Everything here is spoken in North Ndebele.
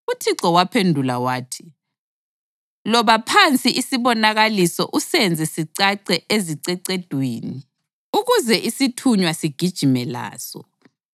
UThixo waphendula wathi: “Loba phansi isibonakaliso usenze sicace ezicecedwini ukuze isithunywa sigijime laso.